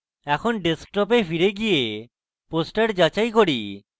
এখন desktop ফিরে গিয়ে poster যাচাই করি